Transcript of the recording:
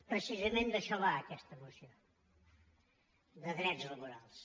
precisament d’això va aquesta moció de drets labo·rals